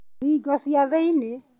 Thingo cia thĩinĩ.